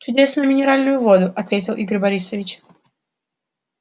чудесную минеральную воду ответил игорь борисович